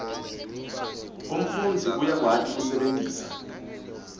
umfundzi uyakwati kusebentisa